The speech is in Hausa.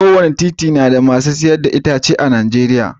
kowane titi nada masu siyar da kayan itace a nijeriya